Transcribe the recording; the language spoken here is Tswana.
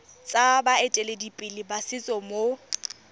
tsa baeteledipele ba setso mo